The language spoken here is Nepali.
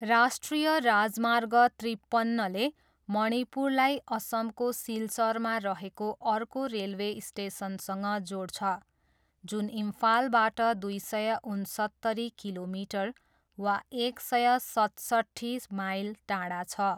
राष्ट्रिय राजमार्ग त्रिपन्नले मणिपुरलाई असमको सिलचरमा रहेको अर्को रेलवे स्टेसनसँग जोड्छ, जुन इम्फालबाट दुई सय उन्सत्तरी किलोमिटर वा एक सय सतसट्ठी माइल टाढा छ।